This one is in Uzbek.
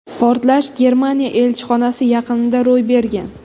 Portlash Germaniya elchixonasi yaqinida ro‘y bergan .